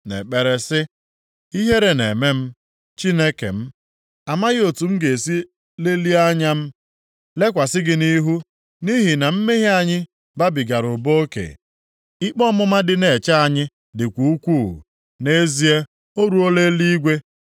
nʼekpere sị, “Ihere na-eme m, Chineke m, amaghị otu m ga-esi lelie anya m lekwasị gị nʼihu, nʼihi na mmehie anyị babigara ụba oke, ikpe ọmụma dị na-eche anyị dịkwa ukwuu, nʼezie o ruola eluigwe.